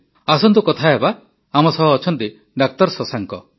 ଆସନ୍ତୁ କଥା ହେବା ଡା ଶଶାଙ୍କଙ୍କ ସହ